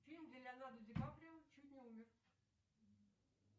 фильм где леонардо ди каприо чуть не умер